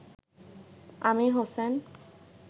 Amir Hossain